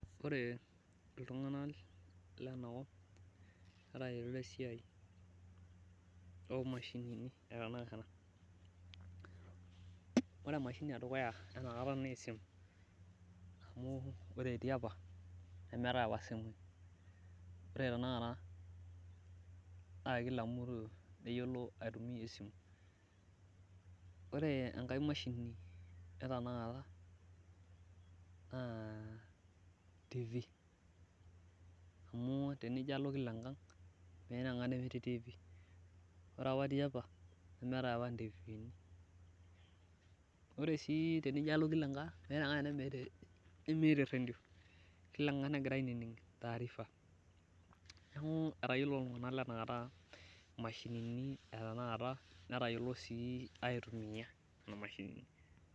ore iltunganak lenakop netayiolo esiai oo imashinini, etanakata ore emashini etanaka naa esimu, amu ore tiapa nemeeta apa isimui kake ore tenakata naa kila mtu neyiolo aitumiya esimu, ore enkae mashini etanaka naa tv amu tinijio alo kila engang meeta enkang nemetii TV , ore apa tiapa nemeetae apa intifini ore sii tinijio alo, kila enkang meeta enkang nemeeta eredio, kila engang negira ainining taarifa neeku etayiolito iltunganak aitumiya kuna mashinini.